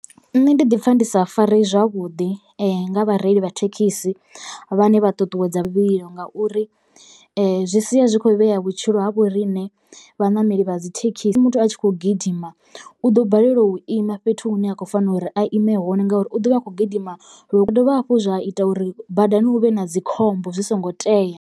Nṋe ndi ḓi pfha ndi sa fareyi zwavhuḓi nga vhareili vha thekhisi vhane vha ṱuṱuwedza luvhilo ngauri zwi sia zwi khou vhea vhutshilo ha vho riṋe vhaṋameli vha dzi thekhisi. Musi muthu a tshi khou gidima u ḓo balelwa u ima fhethu hune a khou fanela uri a ime hone ngauri u ḓovha a kho gidima zwi dovha hafhu zwa ita uri badani hu vhe na dzikhombo zwi songo tea.